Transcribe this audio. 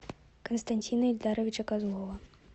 константина ильдаровича козлова